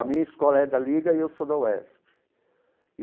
A minha escola é da Liga e eu sou da UESP.